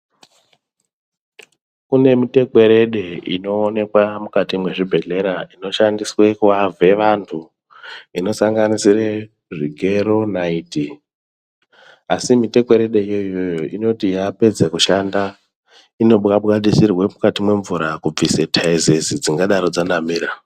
Kune mitekwerede inoonekwa mukati mezvibhedhlera Dzinoshandiswa kuhave vantu dzinoshandiswa Zvigero naiti asi mitekweredo iyoyo inoti yapedza kushanda inobwabwa sirwa mukati memushana kubvusa taizezi.